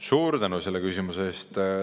Suur tänu selle küsimuse eest!